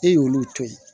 E y'olu to ye